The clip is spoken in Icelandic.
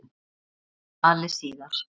Nánar um valið síðar.